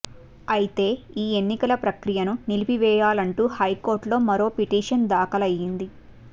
అయితే ఈ ఎన్నికల ప్రక్రియను నిలిపివేయాలంటూ హైకోర్టులో మరో పిటిషన్ దాఖలయ్యింది